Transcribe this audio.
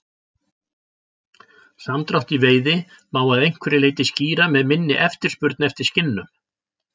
Samdrátt í veiði má að einhverju leyti skýra með minni eftirspurn eftir skinnum.